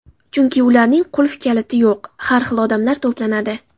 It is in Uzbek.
Chunki ularning qulf-kaliti yo‘q, har xil odamlar to‘planadi.